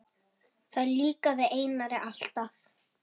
Það líkaði Einari alltaf.